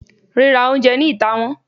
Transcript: rira oúnjẹ ni itá wón